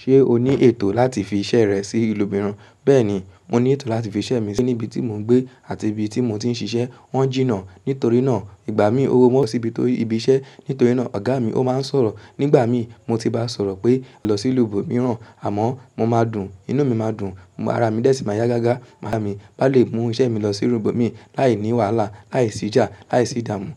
Ṣé o ní ètò láti fi iṣẹ́ rẹ sí ìlú mìíràn? Bẹ́ẹ̀ni, mo ní ètò láti fi iṣẹ́ mi sí níbi tí mò ń gbé àti ibi tí mo ti ń ṣiṣẹ́. Wọ́n jìnnà. Nítorí náà, ìgbà mí ówọ́ síbi tó ibi iṣẹ́. Nítorí náà, ọ̀gá mi ó máa ń sọ̀rọ̀. Nígbà mí mo ti bá sọ̀rọ̀ pé, "lọ sí ìlú ibo mìíràn" àmọ́ mo máa dùn, inú mi máa dùn, ara mi dẹ́ẹ̀ si máa yá gágá. Maa mi bá lè mú iṣẹ́ mi lọ sí ìlú ibomi láìní wàhálà, láìsí ìjà, láìsí ìdààmú.